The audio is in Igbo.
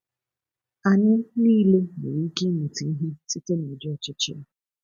Anyị niile nwere ike ịmụta ihe site n’ụdị ochichi a